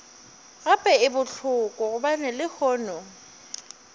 gape e bohloko gobane lehono